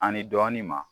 Ani dɔɔnin ma